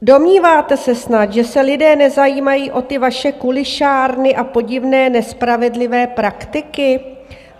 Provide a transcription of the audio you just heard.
Domníváte se snad, že se lidé nezajímají o ty vaše kulišárny a podivné nespravedlivé praktiky?